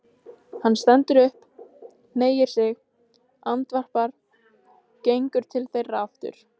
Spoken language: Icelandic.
Hann stendur upp, hneigir sig, andvarpar, gengur til þeirra aftur.